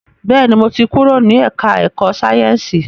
Bẹ́ẹ̀ni, mo ti kúrò ní ẹ̀ká ẹ̀kọ́ Sáyẹ̀nsì